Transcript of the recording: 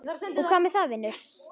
Og hvað með það, vinur?